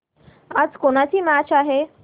आज कोणाची मॅच आहे